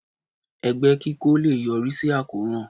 Ẹgbẹ́ kí kó lé è yọrí sí àròkàn